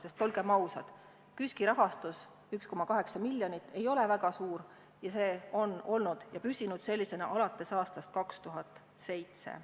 Sest olgem ausad, KÜSK-i rahastus 1,8 miljonit ei ole väga suur ning see on olnud ja püsinud sellisena alates aastast 2007.